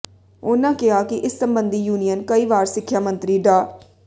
ਉਨ੍ਹਾਂ ਕਿਹਾ ਕਿ ਇਸ ਸਬੰਧੀ ਯੂਨੀਅਨ ਕਈ ਵਾਰ ਸਿੱਖਿਆ ਮੰਤਰੀ ਡਾ